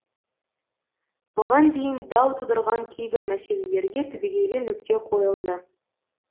бұған дейін дау тудырған кейбір мәселелерге түбегейлі нүкте қойылды